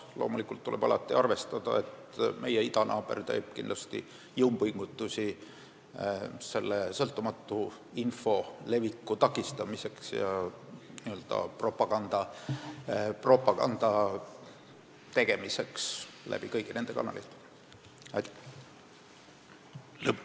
Samas tuleb alati arvestada, et meie idanaaber teeb jõupingutusi sõltumatu info leviku takistamiseks ja oma propaganda tegemiseks kõigi nende kanalite kaudu.